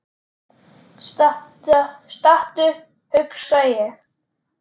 Stattu, hugsa ég.